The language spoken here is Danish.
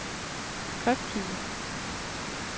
skrifttype